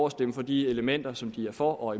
at stemme for de elementer som de er for